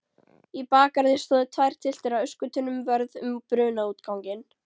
Í bakgarði stóðu tvær tylftir af öskutunnum vörð um brunaútganginn.